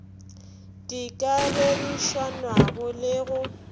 di ka ririšanwago le go